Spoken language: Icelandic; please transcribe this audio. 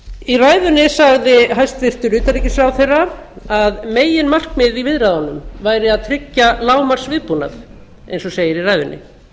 í ræðunni sagði hæstvirtur utanríkisráðherra að meginmarkmiðið í viðræðunum væri að tryggja lágmarksviðbúnað eins og segir í ræðunni